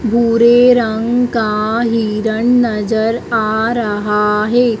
भूरे रंग का हिरण नजर आ रहा है।